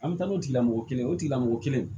An bɛ taa n'o tigilamɔgɔ ye o tigilamɔgɔ kelen